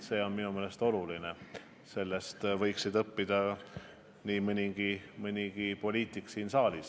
See on minu meelest oluline, sellest võiks õppida nii mõnigi poliitik siin saalis.